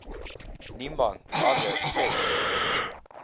niemand anders seks